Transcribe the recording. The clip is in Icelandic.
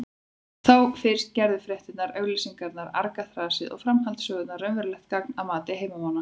Þá fyrst gerðu fréttirnar, auglýsingarnar, argaþrasið og framhaldssögurnar raunverulegt gagn að mati heimamanna.